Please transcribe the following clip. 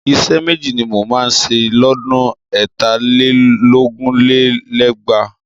Iṣẹ́ méjì ni mo máa ṣe lọ́dún ẹ̀tà lé lógún lé lẹ́gbàá